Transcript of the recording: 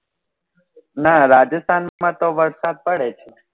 નાં રાજસ્થાન માં તો વરસાદ પડે છે.